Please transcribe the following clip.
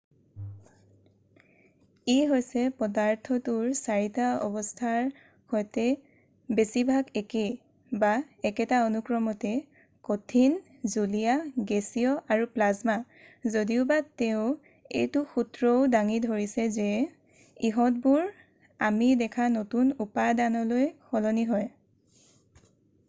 ই হৈছে পদাৰ্থটোৰ 4 টা অৱস্থাৰ সৈতে বেছিভাগ একে একেটা অনুক্ৰমতে: কঠিন জুলীয়া গেছীয় আৰু প্লাজমা যদিওবা তেওঁ এইটো সূত্ৰও দাঙি ধৰিছে যে ইহঁতবোৰ আমি দেখা নতুন উপাদানলৈ সলনি হয়।